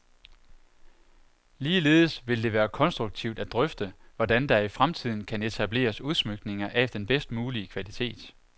Ligeledes vil det være konstruktivt at drøfte, hvordan der i fremtiden kan etableres udsmykninger af den bedst mulige kvalitet.